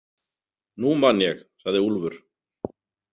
Nú man ég, sagði Úlfur.